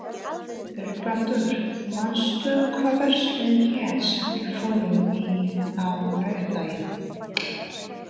Vilbrandur, manstu hvað verslunin hét sem við fórum í á laugardaginn?